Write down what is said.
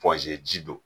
ji don